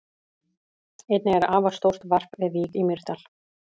Einnig er afar stórt varp við Vík í Mýrdal.